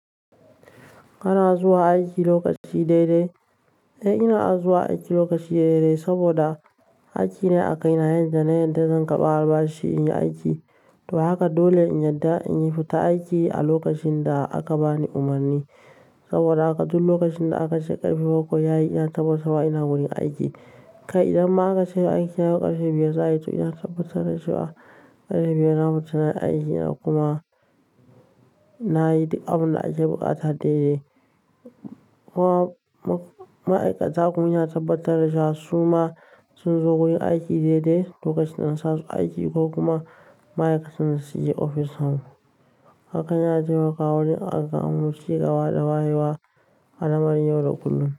Kana zuwa aiki lokaci dai dai? Eh, ina zuwa aiki lokaci dai dai saboda aiki ne a kaina, yanda na yarda zan karba albashi in yi aiki. To haka dole in yarda in fita aiki a lokacin da aka bani umarni saboda haka duk lokacin da aka ce karfe bakwai yayi, ina tabbatarwa ina wurin aiki. Kai idan ma aka ce min aiki yau karfe biyar za'ayi, to ina tabbatar da cewakarfe biyar ina wurin aiki kuma nayi duk abin da ake buƙata dai dai. Ma'aikata kuma ina tabbatar da cewa su ma sun zo wurin aiki daidai lokacin da na sa su aiki ko kuma ma'aikatan da suke ofis nasu. Haka yana taimakawa wajen a samo cigaba da wayewa a lamarin yau da kullum.